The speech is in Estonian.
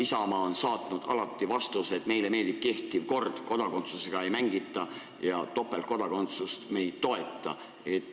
Isamaa on saatnud alati vastuse, et meile meeldib kehtiv kord, kodakondsusega ei mängita ja topeltkodakondsust me ei toeta.